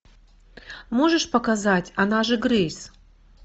можешь показать она же грэйс